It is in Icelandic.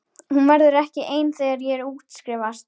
Hún verður ekki ein þegar ég útskrifast.